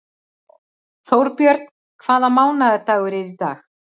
Þórbjörn, hvaða mánaðardagur er í dag?